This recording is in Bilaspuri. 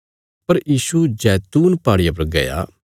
पर यीशु जैतून पहाड़िया पर गया